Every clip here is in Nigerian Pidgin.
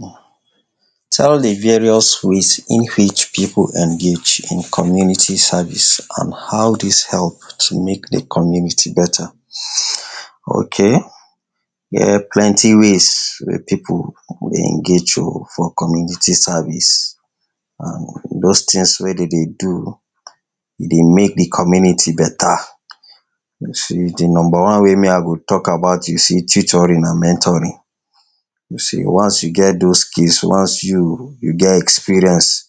? Tell a various ways in which pipu engage in community service and how dis help to make de community better? Okay dem plenty wey wey pipu dey engage um for community service and those things wey de dey do e dey make de community better.? De number one wey me go talk about you see tutoring and mentoring, you see once you get those skills, once you you get experience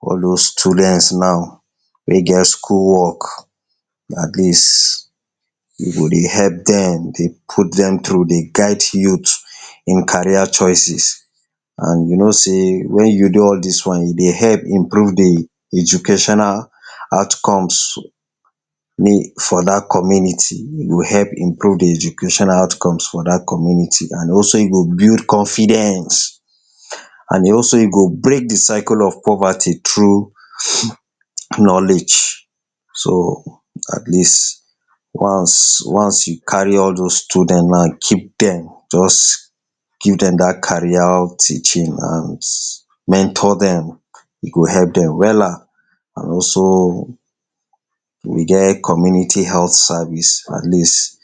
all those students now wey get school work at least you go dey help dem, dey put dem through, dey guide youth in carrier choices and you know sey wen you do all dis one you dey help improve de educational out comes? for dat community, you go help improve de educational out comes for dat community and also you go build confidence and also you go break de circle of poverty through? knowledge. So at least, once once you carry all those student na keep dem, just give dem dat carrier teaching and mentor dem e go help dem wella and also we get community health service at least,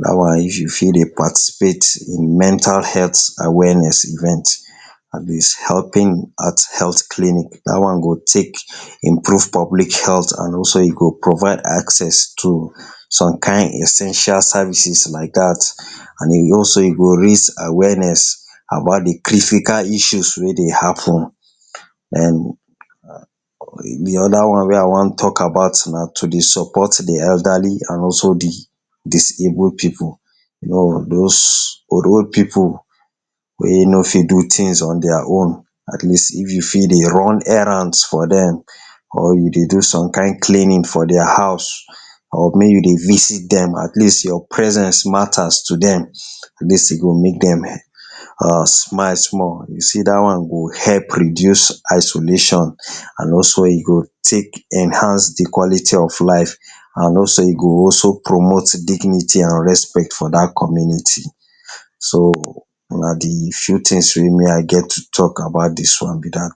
dat one if you fit dey participate in mental health awareness event, at least helping at health clinic dat one go take improve public health and also e go provide access to some kind essential services like dat and again e go raise awareness about d critical issues wey dey happen and De other one wey I want talk about na to dey support de elderly and also de disable pipu, you know those old old pipu wey nor fit do things on their own, at least if you fit dey run errands for dem or you dey do some kind cleaning for their house or make you dey visit dem at least your presence matters to dem, at least e go make dem um smile small, you see dat one go help reduce isolation and also e go take enhance de quality of life and also e go also promote de dignity and respect for dat community. So na de few things wey me I get to talk about dis one be dat.